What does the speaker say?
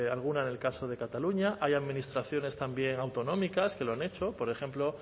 alguna en el caso de cataluña hay administraciones también autonómicas que lo han hecho por ejemplo